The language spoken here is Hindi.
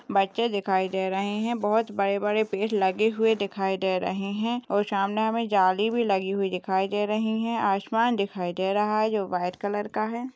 बच्चे दिखाई दे रहे हैं बहुत बड़े-बड़े पेड़ लगे हुए दिखाई दे रहे हैं और सामने हमे जाली भी लगी हुई दिखाई दे रही है आसमान दिखाई दे रहा है जो वाइट कलर का है।